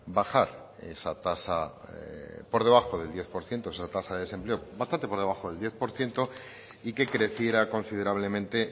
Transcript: bajar esa tasa por debajo del diez por ciento esa tasa del desempleo bastante por debajo del diez por ciento y que creciera considerablemente